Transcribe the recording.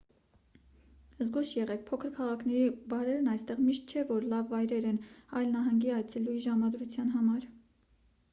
զգույշ եղեք փոքր քաղաքների բարերն այստեղ միշտ չէ որ լավ վայրեր են այլ նահանգի այցելուի ժամադրության համար